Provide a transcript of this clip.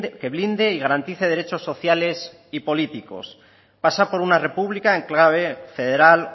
que blinde y garantice derechos sociales y políticos pasa por una república en clave federal